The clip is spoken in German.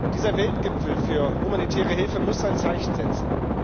Dieser Weltgipfel für humanitäre Hilfe muss ein Zeichen setzen.